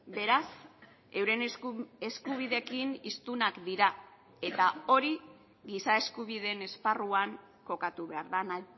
beraz euren eskubideekin hiztunak dira eta hori giza eskubideen esparruan kokatu behar dena